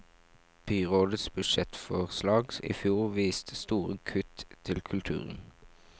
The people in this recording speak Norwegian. Byrådets budsjettforslag i fjor viste store kutt til kulturen.